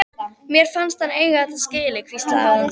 Mér fannst hann eiga þetta skilið- hvíslaði hún.